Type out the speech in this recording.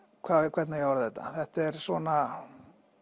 hvernig á ég að orða þetta þetta er svona